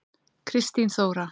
Kristín Þóra.